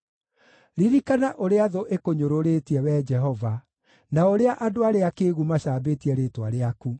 Ririkana ũrĩa thũ ĩkũnyũrũrĩtie, Wee Jehova, na ũrĩa andũ arĩa akĩĩgu macambĩtie rĩĩtwa rĩaku.